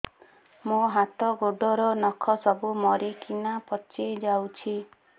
ମୋ ହାତ ଗୋଡର ନଖ ସବୁ ମରିକିନା ପଚି ଯାଉଛି